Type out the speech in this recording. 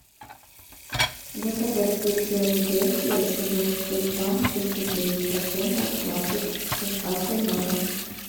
заказать сыр филадельфия сто двадцать пять грамм шестьдесят девять процентов классик с доставкой на дом